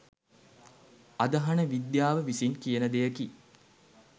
අදහන විද්‍යාව විසින් කියන දෙයකි.